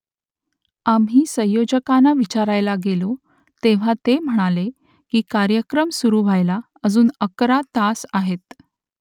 आम्ही संयोजकांना विचारायला गेलो तेव्हा ते म्हणाले की कार्यक्रम सुरू व्हायला अजून अकरा तास आहेत